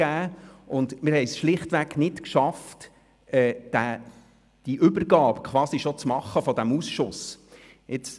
Wir haben es schlichtweg nicht geschafft, die Übergabe dieses Ausschusses schon vor dem Wechsel abzuwickeln.